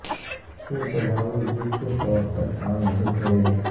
سے تجاوز جس کے طور پر کام نہیں کرے گا